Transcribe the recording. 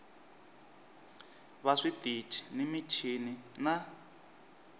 va switichi ni michini na